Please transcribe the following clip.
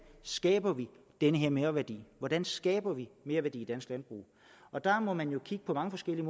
skaber vi den her merværdi hvordan skaber vi merværdi i dansk landbrug der må man jo kigge på mange forskellige